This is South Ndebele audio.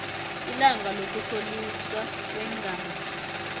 ilanga lokuhloliswa kweengazi